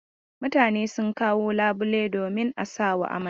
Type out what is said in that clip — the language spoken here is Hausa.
Mutane sun kawo labulai domin a sawa amarya.